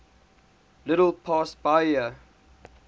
little past bahia